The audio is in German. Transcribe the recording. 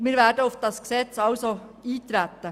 Wir werden auf das Gesetz eintreten.